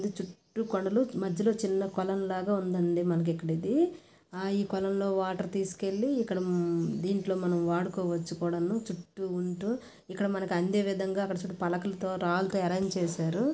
చుట్టూ కొండలు మధ్యలో చిన్న కొలనులాగా ఉందండి మనకి ఇక్కడ ఇది ఈ కొలనులో వాటర్ తీసుకువెళ్ళి ఇక్కడ దీంట్లో మనం వాడుకోవచ్చు కూడా చుట్టూ ఉంటూ ఇక్కడ మనకు అందే విధంగా పలకలతో రాళ్ళతో ఆర్రంజ్ చేశారు.